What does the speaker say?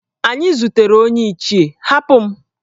Anyi zutere onye Ichie, Hapụ m!